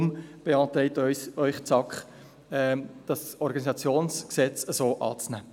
Deshalb beantragt Ihnen die SAK, das OrG so anzunehmen.